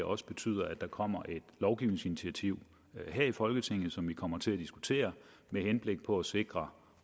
også betyder at der kommer et lovgivningsinitiativ her i folketinget som vi kommer til at diskutere med henblik på at sikre